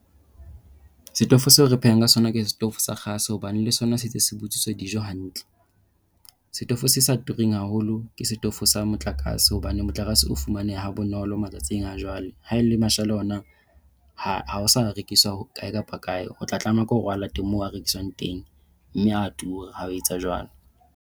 Setofo seo re phehang ka sona ke setofo sa kgase hobane le sona se ntse se butswisa dijo hantle. Setofo se sa turang haholo ke setofo sa motlakase. Hobane motlakase o fumananeha ha bonolo matsatsing a jwale. Ha e le mashala ona ha a sa rekiswa kae kapa kae, o tla tlameha ke hore o a late moo a rekiswang teng mme a tura ha o etsa jwalo.